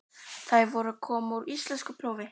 Þær voru að koma úr íslenskuprófi.